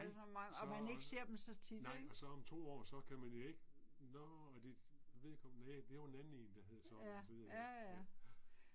Nej, så. Nej og så om 2 år så kan man jo ikke. Nåh og de, ved ikke om næ det var en anden en der hed sådan og så videre, ja, ja